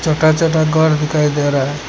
छोटा छोटा घर दिखाई दे रहा है।